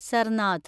Sarnath